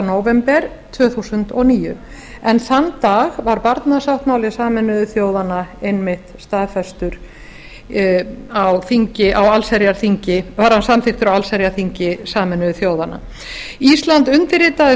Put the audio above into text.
nóvember tvö þúsund og níu en þann dag var barnasáttmáli sameinuðu þjóðanna einmitt staðfestur á allsherjarþingi sameinuðu þjóðanna ísland undirritaði